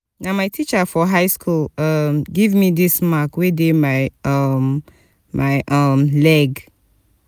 na my teacher for high school um give me dis mark wey dey for um my um leg